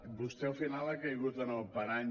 vostè al final ha caigut en el parany